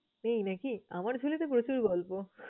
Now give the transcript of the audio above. নেই নাকি? আমার ঝুলিতে প্রচুর গল্প।